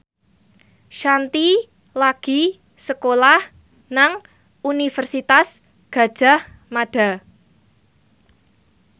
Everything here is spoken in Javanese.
Shanti lagi sekolah nang Universitas Gadjah Mada